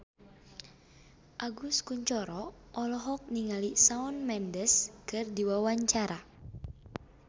Agus Kuncoro olohok ningali Shawn Mendes keur diwawancara